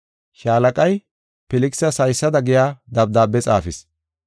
Shaalaqay Filkisas haysada giya dabdaabe xaafis: